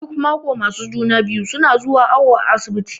Duk maƙo masu juna-biyu suna zuwa awu asibiti.